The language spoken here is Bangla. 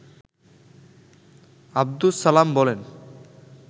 আব্দুস সালাম বলেন